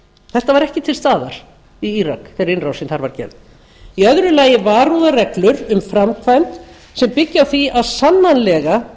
þetta var ekki til staðar í írak þegar innrásin þar var gerð í öðru lagi varúðarreglur um framkvæmd sem byggi á því að sannanlega